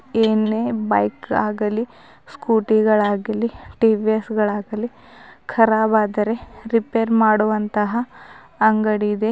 ಏನೇ ಬೈಕ್ ಆಗಲಿ ಸ್ಕೂಟಿ ಗಳಾಗಲಿ ಟಿ_ವಿ_ಎಸ್ ಆಗಲಿ ಕರಾಬ್ ಆದರೆ ರಿಪೇರ್ ಮಾಡುವಂತಹ ಅಂಗಡಿ ಇದೆ.